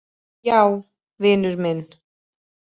Já, vinur minn.